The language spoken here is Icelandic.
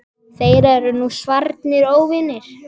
Þeir eru nú svarnir óvinir.